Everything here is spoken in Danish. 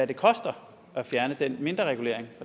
det koster at fjerne den mindreregulering